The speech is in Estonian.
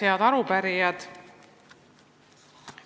Head arupärijad!